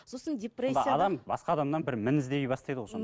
сосын адам басқа адамнан бір мін іздей бастайды ғой